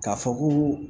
K'a fɔ ko